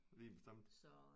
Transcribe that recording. Lige bestemt